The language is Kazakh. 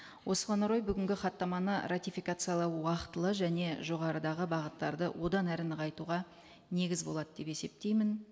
осыған орай бүгінгі хаттаманы ратификациялау уақытылы және жоғарыдағы бағыттарды одан әрі нығайтуға негіз болады деп есептеймін